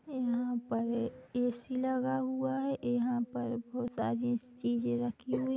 एहा पर ऐसी लगा हुआ है एहा पर बहोत सारी चीज़े रखी हुई।